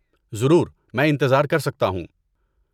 ضرور۔ میں انتظار کر سکتا ہوں۔